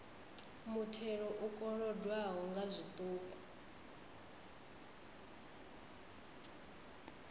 muthelo u kolodwaho nga zwiṱuku